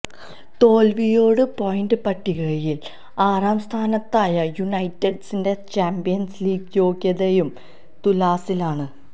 തോല്വിയോടെ point പട്ടികയില് ആറാം സ്ഥാനത്തായ യുനൈറ്റഡിന്റെ ചാമ്പ്യന്സ് ലീഗ് യോഗ്യതയും തുലാസിലാണ്